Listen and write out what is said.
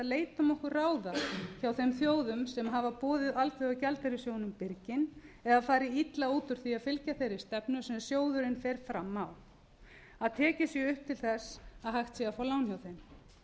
leitum okkur ráða hjá þeim þjóðum sem hafa boðið alþjóðagjaldeyrissjóðnum birginn eða farið illa út úr því að fylgja þeirri stefnu sem sjóðurinn fer fram á að tekin sé upp til þess að hægt sé að fá lán hjá þeim